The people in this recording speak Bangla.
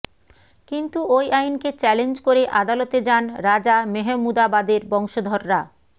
কিন্তু ওই আইনকে চ্যালেঞ্জ করে আদালতে যান রাজা মেহমুদাবাদের বংশধররা